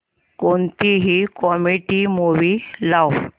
कोणतीही comedy movie लाव